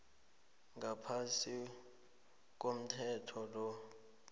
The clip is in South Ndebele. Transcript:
ngaphasi komthetho lo